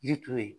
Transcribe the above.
Yiri turu yen